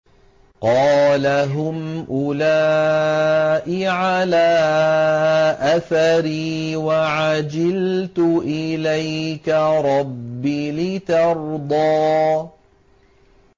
قَالَ هُمْ أُولَاءِ عَلَىٰ أَثَرِي وَعَجِلْتُ إِلَيْكَ رَبِّ لِتَرْضَىٰ